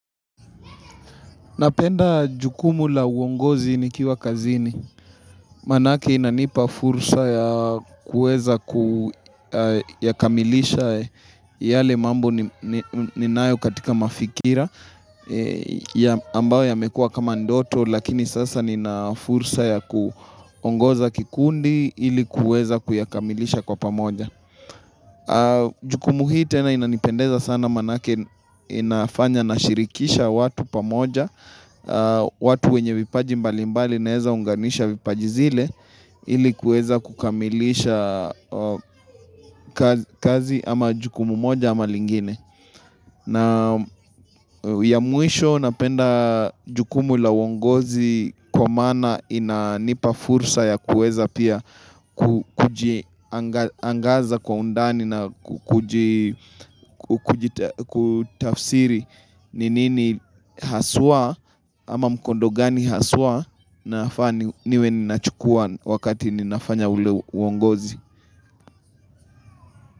Napenda jukumu la uongozi nikiwa kazini. Manake inanipa fursa ya kueza kuyakamilisha yale mambo ninayo katika mafikira ambayo yamekua kama ndoto lakini sasa nina fursa ya kuongoza kikundi ili kuweza kuyakamilisha kwa pamoja. Jukumu hii tena inanipendeza sana manake inafanya nashirikisha watu pamoja watu wenye vipaji mbalimbali naeza unganisha vipaji zile ili kueza kukamilisha kazi ama jukumu moja ama lingine na ya mwisho napenda jukumu la uongozi Kwa maana inanipa fursa ya kueza pia Kujiaangaza kwa undani na kutafsiri ni nini haswa ama mkondo gani haswa nafaa ni niwe ninachukua wakati ninafanya ule uongozi.